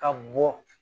Ka bɔ